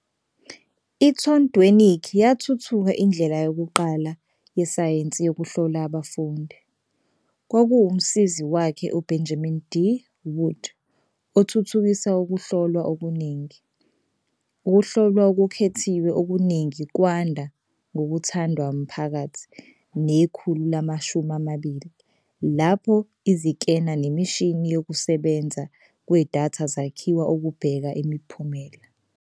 I-Thorndwenike yathuthuka indlela yokuqala yesayensi yokuhlola abafundi, kwakuwumsizi wakhe uBenjamin D. Wood othuthukisa ukuhlolwa okuningi. Ukuhlolwa okukhethiwe okuningi kwanda ngokuthandwa maphakathi nekhulu lama-20 lapho izikena nemishini yokusebenza kwedatha zakhiwa ukubheka imiphumela.